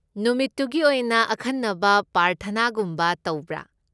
ꯅꯨꯃꯤꯠꯇꯨꯒꯤ ꯑꯣꯏꯅ ꯑꯈꯟꯅꯕ ꯄ꯭ꯔꯥꯔꯊꯅꯥꯒꯨꯝꯕꯒ ꯇꯧꯕ꯭ꯔꯥ?